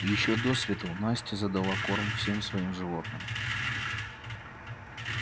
ещё до свету настя задала корм всем своим животным